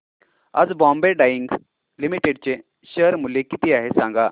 आज Bombay Dyeing Limited चे share मूल्य किती आहे सांगा